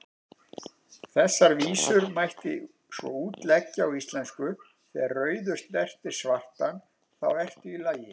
Þessar vísur mætti svo útleggja á íslensku: Þegar rauður snertir svartan, þá ertu í lagi,